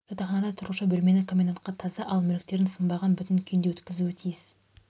жатақханада тұрушы бөлмені комендантқа таза ал мүліктерін сынбаған бүтін күйінде өткізуі тиіс